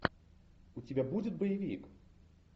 у тебя будет боевик